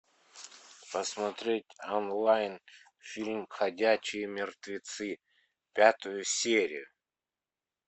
посмотреть онлайн фильм ходячие мертвецы пятую серию